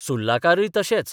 सुर्लाकारय तशेच.